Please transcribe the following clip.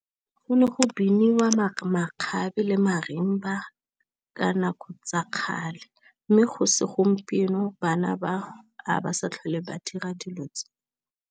Go ne go biniwa makgabe le marimba ba ka nako tsa kgale, mme go segompieno bana ba ha ba sa tlhole ba dira dilo tse.